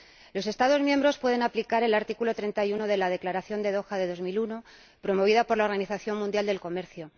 Los Estados miembros pueden aplicar el artículo 31 de la Declaración de Doha de 2001, promovida por la Organización Mundial del Comercio